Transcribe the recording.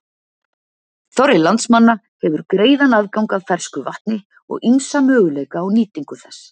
Þorri landsmanna hefur greiðan aðgang að fersku vatni og ýmsa möguleika á nýtingu þess.